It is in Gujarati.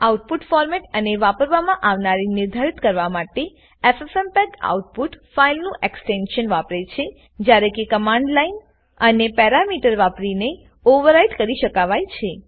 આઉટપુટ ફોરમેટ અને વાપરવામાં આવનાર નિર્ધારિત કરવા માટે ffmpegઆઉટપુટ ફાઈલનું એક્સટેંશન વાપરે છેજયારે કે અને કમાંડ લાઈન અને પેરામીટર વાપરીને ઓવરરાઈટ કરી શકાવાય છે